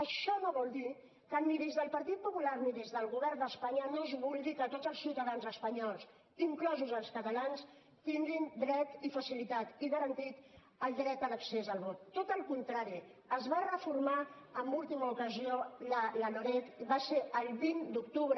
això no vol dir que ni des del partit popular ni des del govern d’espanya no es vulgui que tots els ciutadans espanyols inclosos els catalans tinguin dret i facilitat i garantit el dret a l’accés al vot tot al contrari es va reformar en última ocasió la loreg i va ser el vint d’octubre